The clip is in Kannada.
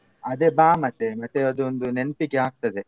ಅದೆ ಬಾ ಮತ್ತೆ ಮತ್ತೆ ಅದೊಂದು ನೆನ್ಪಿಗೆ ಆಗ್ತದೆ.